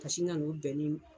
Ka sin ka nin bɛnnen